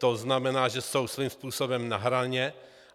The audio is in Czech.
To znamená, že jsou svým způsobem na hraně.